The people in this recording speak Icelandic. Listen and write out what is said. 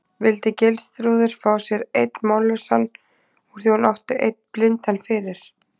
Vildi Geirþrúður fá sér einn mállausan úr því hún átti einn blindan fyrir?